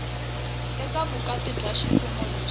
eka vukati bya ximfumo lebyi